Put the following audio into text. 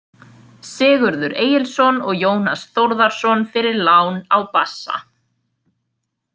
Sigurður Egilsson og Jónas Þórðarson fyrir lán á bassa.